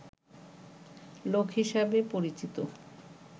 লোক হিসেবে পরিচিত